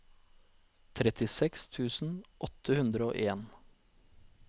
trettiseks tusen åtte hundre og en